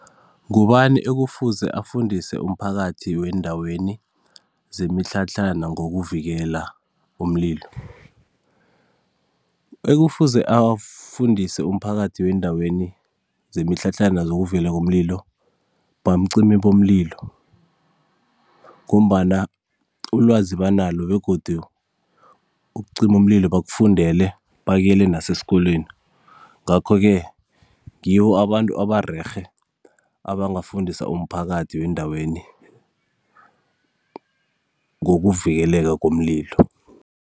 Ngubani ekufuze afundise umphakathi weendaweni zemitlhatlhana ngokuvikela umlilo? Ekufuze afundise umphakathi weendaweni zemitlhatlhana zokuvela komlilo, bacimi bomlilo, ngombana ulwazi banalo begodu ukucima umlilo bakufundele bakuyele nasesikolweni ngakho-ke ngiwo abantu abarerhe, abangafundisa umphakathi weendaweni ngokuvikeleka komlilo.